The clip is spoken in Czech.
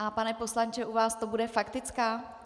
A pane poslanče , u vás to bude faktická?